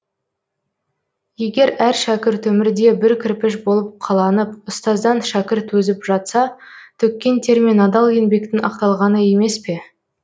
егер әр шәкірт өмірде бір кірпіш болып қаланып ұстаздан шәкірт өзіп жатса төккен тер мен адал еңбектің ақталғаны емес пе